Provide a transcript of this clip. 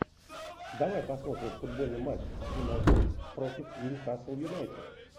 давай посмотрим футбольный матч юнайтед против нью касл юнайтед